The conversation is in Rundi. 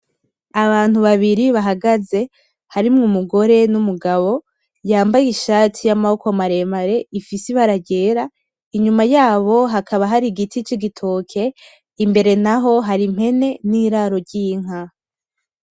Abantu babiri bahagaze harimwo umugore n'umugabo yambaye ishati y'amaboko maremare ifise ibara ryera inyuma yabo hakaba hari igiti c'igitoke imbere naho hari ummpene n'iraro ry'inka.